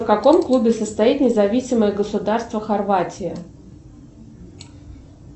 в каком клубе состоит независимое государство хорватия